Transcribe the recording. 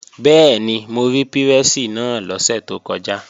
Bẹ́ẹ̀ni, mo rí pírẹ́sì náà lọ́sẹ̀ tó kọjá